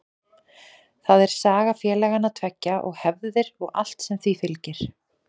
Það er saga félagana tveggja og hefðir og allt sem því fylgir.